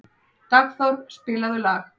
Dagþór, spilaðu lag.